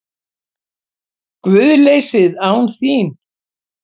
GUÐLEYSIÐ ÁN ÞÍN